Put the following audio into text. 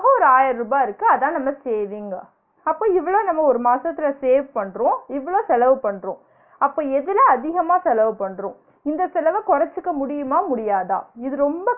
இதுவே ஒரு ஆயிர ருபா இருக்கு, அதான் நம்ம saving அப்ப இவ்ளோ நம்ம ஒரு மாசத்துல save பண்றோம், இவ்ளோ செலவு பண்றோம், அப்ப எதுல அதிகமா செலவு பண்றோம்? இந்த செலவ கொரச்சிக்க முடியுமா? முடியாதா? இது ரொம்ப